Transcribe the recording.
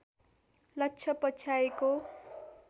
लक्ष्य पछ्याएको